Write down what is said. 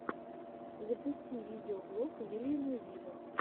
запусти видеоблог вильяма виво